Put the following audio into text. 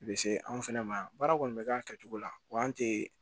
I bɛ se anw fɛnɛ ma yan baara kɔni bɛ k'a kɛcogo la wa an tɛ